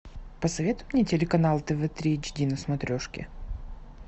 посоветуй мне телеканал тв три эйч ди на смотрешке